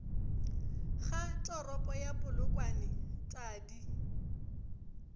ga toropo ya polokwane tadi